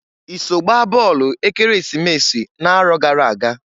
I so gbaa bọọlụ Ekeresimesi n'arọ gara aga?